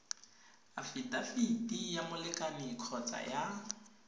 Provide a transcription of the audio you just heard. afidafiti ya molekane kgotsa ya